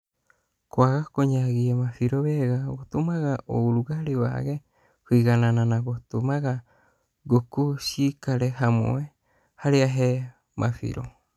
Kwaga kũnyagia mabĩro wega gũtũmaga urũgalĩ wage kũiganana na gũtũmaga ngũkũ ciikare hamwe harĩa he mabĩro